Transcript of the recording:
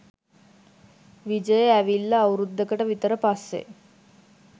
විජය ඇවිල්ල අවුරුදුකට විතර පස්සේ.